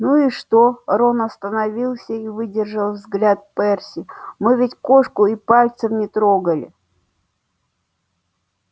ну и что рон остановился и выдержал взгляд перси мы ведь кошку и пальцем не трогали